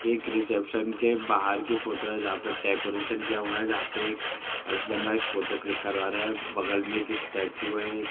एक रीसेप्शन के बाहर की फोटो है जहाॅं पे डेकोरेशन किया हुआ है जहाॅं पे एक हस्बैंड वाइफ फोटो क्लिक करवा रहे हैं। बगल में एक स्टैचू है। एक --